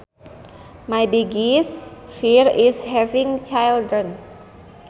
My biggest fear is having children